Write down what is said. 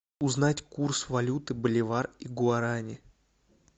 узнать курс валюты боливар и гуарани